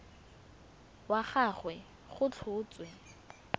wa ga gagwe go tlhotswe